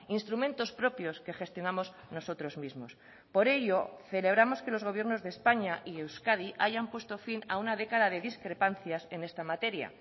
instrumentos propios que gestionamos nosotros mismos por ello celebramos que los gobiernos de españa y euskadi hayan puesto fin a una década de discrepancias en esta materia